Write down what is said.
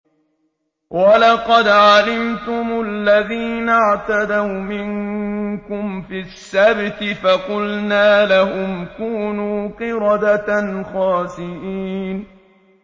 وَلَقَدْ عَلِمْتُمُ الَّذِينَ اعْتَدَوْا مِنكُمْ فِي السَّبْتِ فَقُلْنَا لَهُمْ كُونُوا قِرَدَةً خَاسِئِينَ